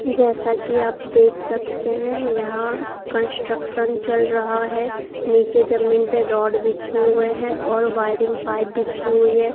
जैसा कि आप देख सकते हैं यहां कंस्ट्रक्शन चल रहा है नीचे जमीन पे रॉड बिछे हुए हैं और वायरिंग पाइप बिछी हुई है।